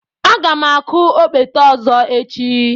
Aga m akụ okpete ọzọ echi.